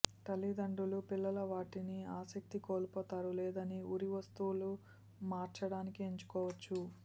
తల్లిదండ్రులు పిల్లల వాటిని ఆసక్తి కోల్పోతారు లేదని ఉరి వస్తువులు మార్చడానికి ఎంచుకోవచ్చు